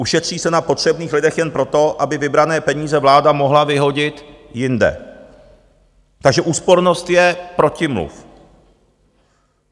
Ušetří se na potřebných lidech jen proto, aby vybrané peníze vláda mohla vyhodit jinde, takže úspornost je protimluv.